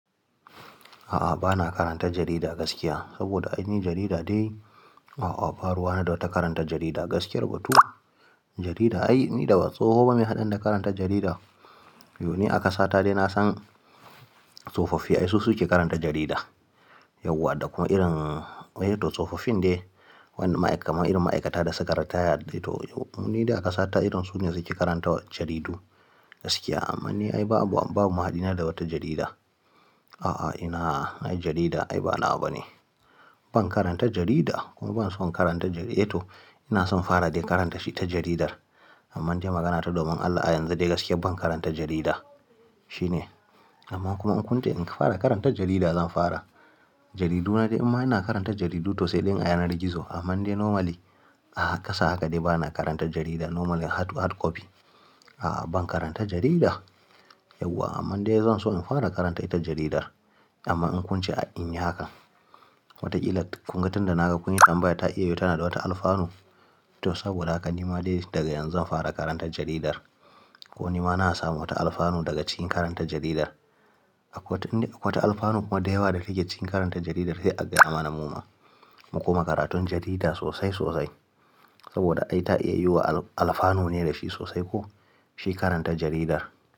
A'a, ba na karanta jarida gaskiya saboda ai ni jarida dai, a'a ba ruwana da wata karanta jarida gaskiyar batu. Jarida ai ni da ba tsoho ba meya hadani da karanta jarida. Yo ni a kasata dai na san tsofaffi ai su su ke karanta jarida. Yauwa da kuma irin wai to tsofaffin dai wanda ma'aika kamar irin ma'aikata da sukayi retire dai to ni dai a kasata irin su ne suke karanta jaridu gaskiya. Amma ni ai babu, babu mahaɗi na da wata jarida. A'a, ina ai jarida ai ba nawa bane. Ban karanta jarida kuma ban son karanta jari-- eh to ina son in fara dai karanta shi ta jaridar. Amman dai magana ta domin Allah a yanzu dai gaskiya ban karanta jarida. Shi ne. Amma kuma in kunce in fara karanta jarida zan fara. Jaridu na dai imma ina karanta jaridu to sai dai in a yanar gizo. Amma dai normally a ƙasa haka dai bana karanta jarida normally hard copy. A'a ban karanta jarida yauwa amma dai zan so in fara karanta ita jaridar. Amma in kunce a in yi hakan, wataƙila kunga tunda naga kun yi tambayan ta iya yiwu tana da wata alfanu. To saboda haka ni ma dai daga yanzu zan fara karanta jaridar. Ko ni ma na samu wata alfanu daga cikin karanta jaridar. Akwai wata, in dai akwai wata alfanu kuma dayawa da take cikin karanta jaridar sai a gaya mana muma. Mu kuma karatun jarida sosai sosai saboda ai ta iya yiwuwa alfanu ne da shi sosai ko shi karanta jaridar.